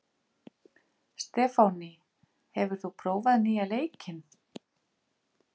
Stefánný, hefur þú prófað nýja leikinn?